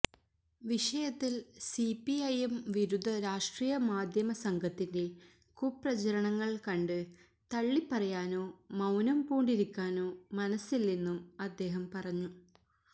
വിഷയത്തില് സിപിഐഎം വിരുദ്ധ രാഷ്ട്രീയ മാധ്യമ സംഘത്തിന്റെ കുപ്രചരണങ്ങള് കണ്ട് തള്ളി പറയാനോ മൌനം പൂണ്ടിരിക്കാനോ മനസ്സില്ലെന്നും അദ്ദേഹം പറഞ്ഞു